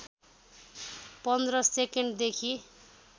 १५ सेकेन्डदेखि